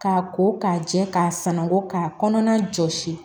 K'a ko k'a jɛ k'a sanangɔ k'a kɔnɔna jɔsi